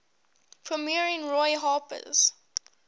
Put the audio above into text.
premiering roy harper's